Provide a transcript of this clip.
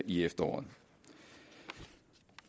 i efteråret